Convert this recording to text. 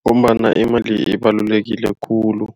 Ngombana imali ibalulekile khulu